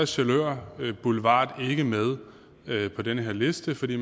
sjælør boulevard ikke med på den her liste fordi